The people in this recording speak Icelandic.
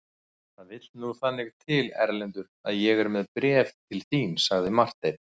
Það vill nú þannig til Erlendur að ég er með bréf til þín, sagði Marteinn.